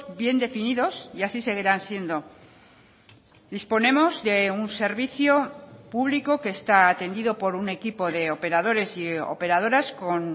bien definidos y así seguirán siendo disponemos de un servicio público que está atendido por un equipo de operadores y operadoras con